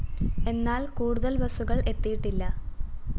എന്നാല്‍ കൂടുതല്‍ ബസ്സുകള്‍ എത്തിയിട്ടില്ല